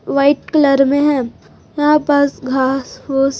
white colour में है यहां पास घास फुस--